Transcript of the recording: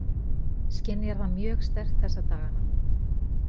Skynjar það mjög sterkt þessa dagana?